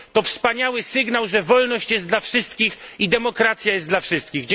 To wspaniały sygnał, że wolność jest dla wszystkich i demokracja jest dla wszystkich.